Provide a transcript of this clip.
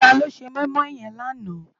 Táló sé moimoi yèn làná?